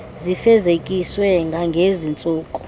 zifezekiswe kwangezi ntsuku